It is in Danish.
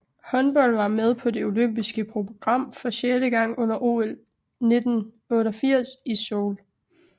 Håndbold var med på det olympiske program for sjette gang under OL 1988 i Seoul